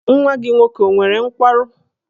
Nwa gị nwoke ọ nwere nkwarụ?